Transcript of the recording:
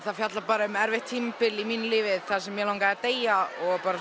það fjallar um erfitt tímabil í mínu lífi þar sem mig langaði að deyja